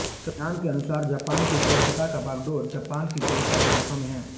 संविधान के अनुसार जापान की स्वायत्तता की बागडोर जापान की जनता के हाथों में है